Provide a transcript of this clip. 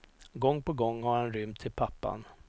Gång på gång har han rymt till pappan.